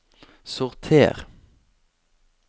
sorter